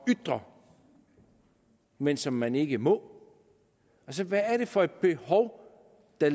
ytre men som man ikke må hvad er det for et behov der